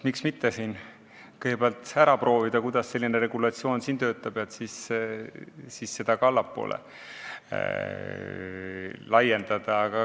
Miks mitte kõigepealt siin ära proovida, kuidas selline regulatsioon töötab, ja siis seda ka allapoole laiendada?